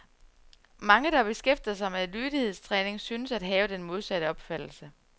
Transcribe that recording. Mange, der beskæftiger sig med lydighedstræning, synes at have den modsatte opfattelse.